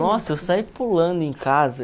Nossa, eu saí pulando em casa.